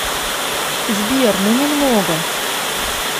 сбер ну немного